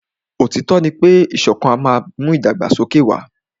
Òtítọ́ ní pé ìṣọ̀kan má n mú ìdàgbàsókè wà.